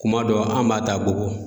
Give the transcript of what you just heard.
Kuma dɔ an b'a ta Bobo.